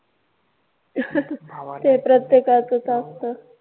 भावाला ते प्रत्येकाचं असतं.